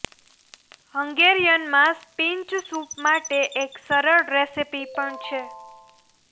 હંગેરિયનમાં spinach soup માટે એક સરળ રેસીપી પણ છે